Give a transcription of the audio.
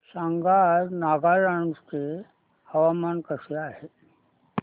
सांगा आज नागालँड चे हवामान कसे आहे